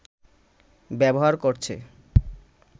ব্যবহার করছে